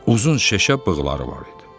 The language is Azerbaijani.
Uzun şişə bığları var idi.